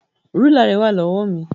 Rúlà rẹ wà lọ́wọ́ mi.